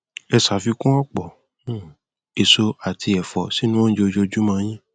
ẹ ṣàfikún ọpọ um èso àti ẹfọ sínú oúnjẹ ojoojúmọ ọ yín